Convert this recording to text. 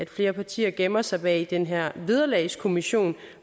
flere partier gemmer sig bag den her vederlagskommission